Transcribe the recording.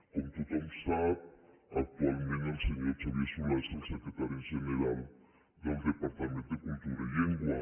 com tothom sap actualment el senyor solà és el secretari general del departament de cultura i llengua